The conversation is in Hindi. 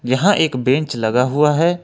यहां एक बेंच लगा हुआ है।